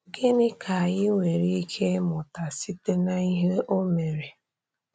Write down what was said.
Gịnị ka anyị nwere ike ịmụta site n’ihe o mere?